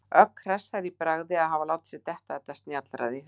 Ögn hressari í bragði að hafa látið sér detta þetta snjallræði í hug.